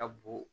Ka bon